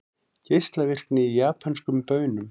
Geislavirkni í japönskum baunum